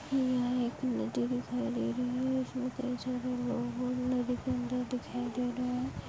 यहाँ एक नदी दिखाई दे रही है इसमें ढेर सारे लोग दिखाई दे रहे है।